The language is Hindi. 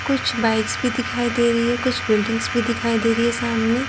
कुछ बाइक्स भी दिखाई दे रही है कुछ बिल्डिंग्स भी दिखाई दे रही है सामने।